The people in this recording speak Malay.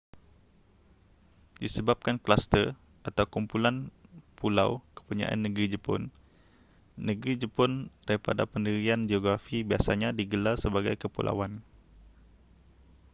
disebabkan kluster/kumpulan pulau kepunyaan negeri jepun negeri jepun daripada pendirian geografi biasanya digelar sebagai kepulauan